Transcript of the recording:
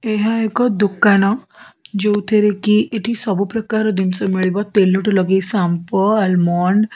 ଏହା ଏକ ଦୋକାନ ଯୋଉଥିରେ କି ଏଠି ସବୁ ପ୍ରକାର ଜିନିଷ ମିଳିବ ତେଲ ଠୁ ଲଗେଇକି ସାମ୍ପୋ ଆଲମଣ୍ଡ --